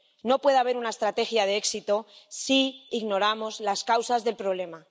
No puede haber una estrategia de éxito si ignoramos las causas del problema.